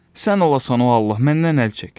Sən olasan o Allah, məndən əl çək!